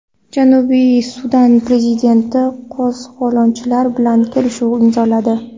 Janubiy Sudan prezidenti qo‘zg‘olonchilar bilan kelishuv imzoladi.